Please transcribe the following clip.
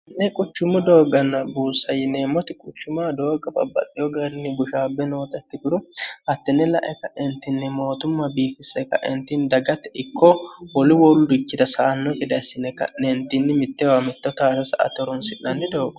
ne quchummu dooganna buussa yineemmoti quchuma dooga babbaliyo garni bushaabbe noota ikkituru hattinne la'e ka'entinni mootumma biifisse kaentinni dagatte ikkoo holi woludikchita saanno geda issine ka'neentinni mitteewa metto taatasa atte oronsi'nanni doogo